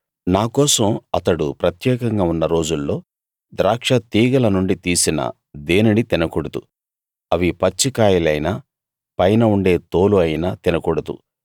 నా కోసం అతడు ప్రత్యేకంగా ఉన్న రోజుల్లో ద్రాక్ష తీగల నుండి తీసిన దేనినీ తినకూడదు అవి పచ్చి కాయలైనా పైన ఉండే తోలు అయినా తినకూడదు